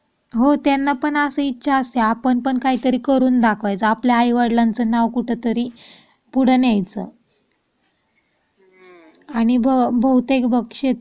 हो त्यांना पण अशी इच्छा असते. पण काही करून दाखवायचा आपल्या आई-वडिलांचे नाव कुठेतरी पुढे न्यायचं. आणि बहुतेक बग शेतकऱ्यांच्या